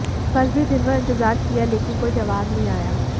कल भी दिनभर इंतजार किया लेकिन कोई जवाब नहीं आया